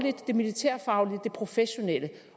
det militærfaglige det professionelle